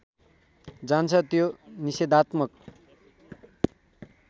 जान्छ त्यो निषेधात्मक